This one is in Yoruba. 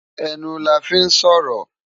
Enú làfi n sòrò